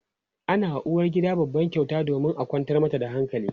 ana wa uwargida babban kyauta domin a kwantar mata da hankali